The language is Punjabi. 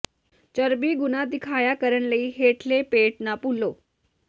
ਚਰਬੀ ਗੁਣਾ ਦਿਖਾਇਆ ਕਰਨ ਲਈ ਹੇਠਲੇ ਪੇਟ ਨਾ ਭੁੱਲੋ